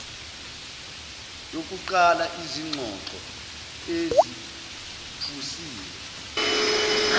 yokuqala izingxoxo eziphusile